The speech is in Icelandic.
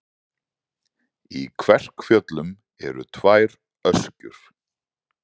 Í Kverkfjöllum eru tvær öskjur.